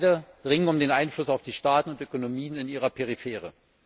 Beide ringen um den Einfluss auf die Staaten und Ökonomien in ihrer Peripherie.